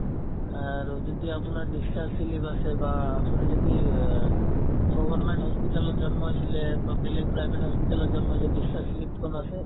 আৰু যদি আপোনাৰ discharge slip আছে বা আপুনি যদি অ government hospital ত জন্ম হৈছিলে বা বেলেগ private hospital ত জন্ম হৈছে discharge slip খন আছে